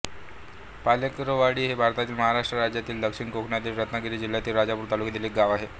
पालेकरवाडी हे भारतातील महाराष्ट्र राज्यातील दक्षिण कोकणातील रत्नागिरी जिल्ह्यातील राजापूर तालुक्यातील एक गाव आहे